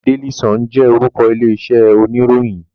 Daily Sun jẹ orúkọ ilé iṣẹ oníròyìn.